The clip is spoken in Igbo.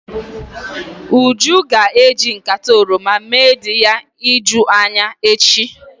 Uju ga-eji nkata oroma mee di ya ijuu anya echi.